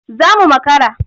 Za mu makara.